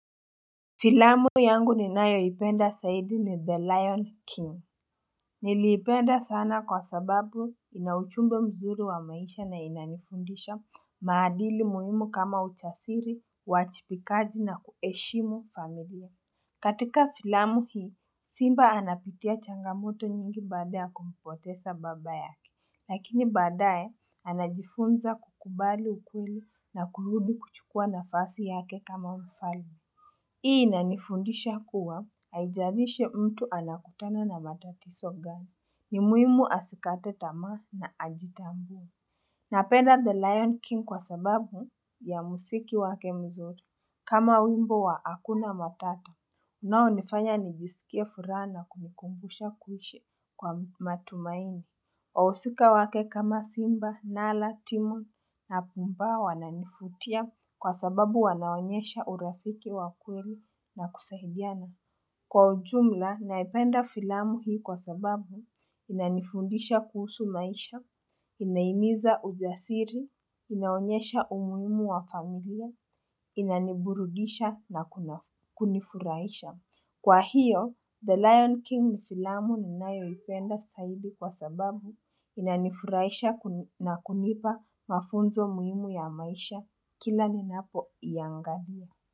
Filamu yangu ninayoipenda zaidi ni the lion king Nilipenda sana kwa sababu ina ujumbe mzuri wa maisha na inanifundisha maadili muhimu kama ujasiri, uajipikaji na kuheshimu familia katika filamu hii simba anapitia changamoto nyingi baada kumpoteza baba yake lakini baadae anajifunza kukubali ukweli na kurudi kuchukua nafasi yake kama mfalme hii inanifundisha kuwa, haijaiishi mtu anakutana na matatizo gani, ni muhimu asikate tamaa na ajitambu. Napenda the lion king kwa sababu ya mziki wake mzuri. Kama wimbo wa hakuna matata, unao nifanya nijisikia furaha na kunikumbusha kuishi kwa matumaini. Wahusika wake kama simba, nala, timo na pumba wananifutia. Kwa sababu wanaonyesha urafiki wa kweli na kusaidiana. Kwa ujumla, naipenda filamu hii kwa sababu inanifundisha kuhusu maisha, inaimiza ujasiri, inaonyesha umuhimu wa familia, inaniburudisha na kunifurahisha. Kwa hiyo, The Lion King ni filamu ninayo ipenda zaidi kwa sababu inanifurahisha na kunipa mafunzo muhimu ya maisha. Kila ninapo iangalia.